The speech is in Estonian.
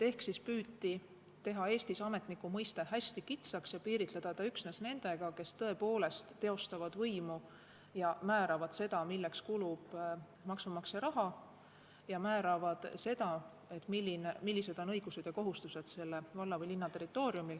Siis püüti Eestis teha ametniku mõiste hästi kitsaks ja piiritleda see üksnes nendega, kes tõepoolest teostavad võimu ja määravad seda, milleks kulub maksumaksja raha, ja seda, millised on õigused ja kohustused.